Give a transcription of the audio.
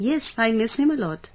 Yes, I miss him a lot